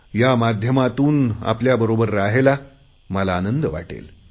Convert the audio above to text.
या माध्यमातून आपल्याबरोबर रहायला मला आनंद वाटेल